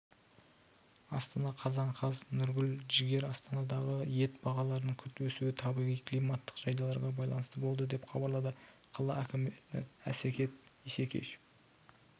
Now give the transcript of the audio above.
астана қазан қаз нұргүл жігер астанадағы ет бағаларының күрт өсуі табиғи-климаттық жағдайларға байланысты болды деп хабарлады қала әкімі әсет исекешев